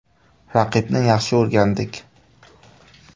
Raqibni yaxshi o‘rgandik.